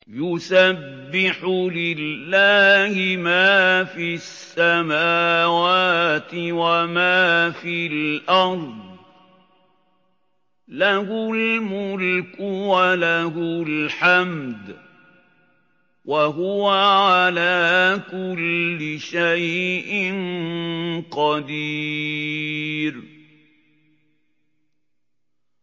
يُسَبِّحُ لِلَّهِ مَا فِي السَّمَاوَاتِ وَمَا فِي الْأَرْضِ ۖ لَهُ الْمُلْكُ وَلَهُ الْحَمْدُ ۖ وَهُوَ عَلَىٰ كُلِّ شَيْءٍ قَدِيرٌ